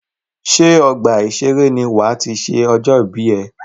Ṣé ọgbà ìseré ní wà á ti ṣe ọjọ́ ìbí ẹ?